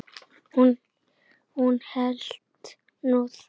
Hún hélt nú það.